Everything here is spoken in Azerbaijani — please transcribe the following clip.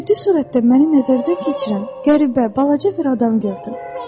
Ciddi sürətdə məni nəzərdən keçirən qəribə balaca bir adam gördüm.